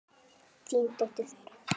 Þín dóttir, Þóra.